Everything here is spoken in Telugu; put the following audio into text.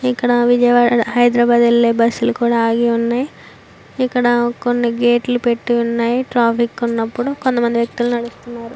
ఇక్కడ విజయవాడ హైదరాబాద్ ఎళ్ళే బస్ లు కూడా ఆగి ఉన్నాయ్ ఇక్కడ కొన్ని గేట్ లు పెట్టి ఉన్నాయ్ ట్రాఫిక్ ఉన్నప్పుడు కొంతమంది వ్యక్తులు నడుస్తున్నారు.